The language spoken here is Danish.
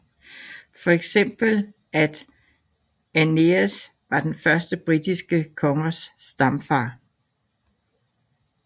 Fx at Aeneas var de første britiske kongers stamfader